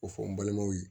O fɔ n balimaw ye